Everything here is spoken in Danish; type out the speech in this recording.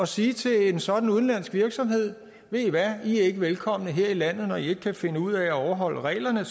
sige til en sådan udenlandsk virksomhed ved i hvad i er ikke velkomne her i landet når i ikke kan finde ud af at overholde reglerne